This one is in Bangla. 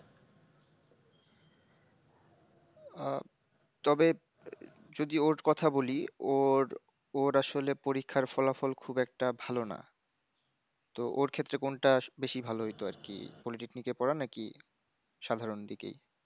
আহ, তবে যদি ওর কথা বলি ওর, ওর আসলে পরীক্ষার ফলাফল খুব একটা ভালো না। তো ওর ক্ষেত্রে কোনটা বেশি ভালো হইতো আর কি, Polytechnic এ পড়া নাকি? সাধারণ দিকেই।